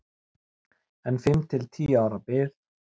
Enn fimm til tíu ára bið